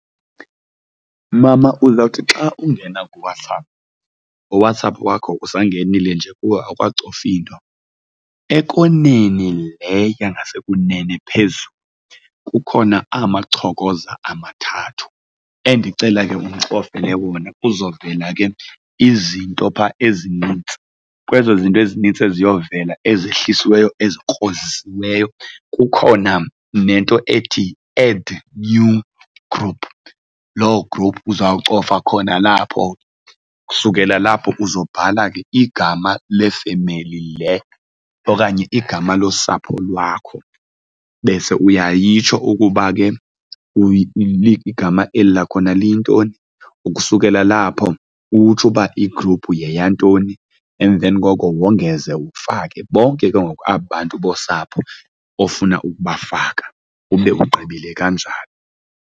Mama uzawuthi xa ungena kuWhatsApp, uWhatsApp wakho usangenile nje kuwo awukacofi nto, ekoneni le yangasekunene phezulu kukhona amachokoza amathathu endicela ke undicofele wona kuzovela ke izinto phaa ezinintsi. Kwezo zinto ezinintsi eziyovela ezehlisiweyo ezikrozisileyo kukhona nento ethi, Add New Group. Loo group uzawucofa khona lapho. Ukusukela lapho uzobhala ke igama lefemeli le okanye igama losapho lwakho bese uyayitsho ukuba ke igama eli lakhona liyintoni. Ukusukela lapho utsho uba igruphu yeyantoni emveni koko wongeze ufake bonke ke ngoku aba bantu bosapho ofuna ukubafaka, ube ugqibile kanjalo.